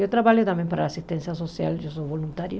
Eu trabalho também para assistência social, eu sou voluntária.